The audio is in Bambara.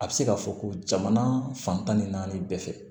A bɛ se ka fɔ ko jamana fan tan ni naani bɛɛ fɛ